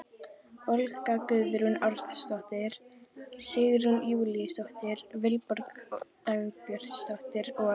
Olga Guðrún Árnadóttir, Sigrún Júlíusdóttir, Vilborg Dagbjartsdóttir og